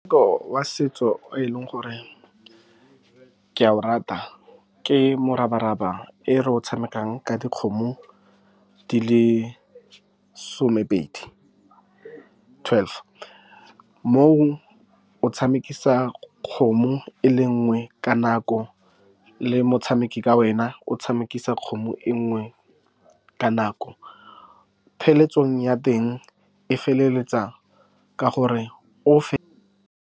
Wa setso o e leng gore ke a o rata ke morabaraba. E re o tshamekang ka dikgomo di le somepedi, twelve, mo o tshamekisa kgomo e le nngwe ka nako le motshameki ka wena o tshamekisa kgomo e nngwe ka nako ya teng e feleletsa ka gore o .